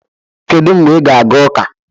Kedu mgbe ị ga-aga ụka?